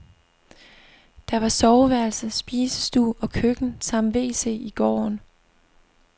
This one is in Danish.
Der var soveværelse, spisestue og køkken samt wc i gården.